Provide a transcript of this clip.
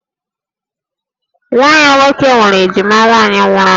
Nwa ya nwoke nwere ejima nwaanyị nwụrụ anwụ